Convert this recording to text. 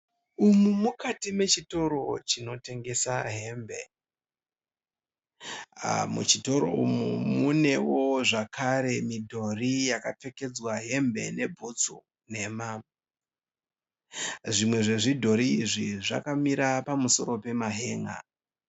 Umu mukati mechitoro chinotengesa hembe. Muchitoro umu munewo zvakare midhori yakapfekedzwa hembe nebhutsu nhema. Zvimwe zvezvidhori izvi zvakamira pamusoro pemahenga.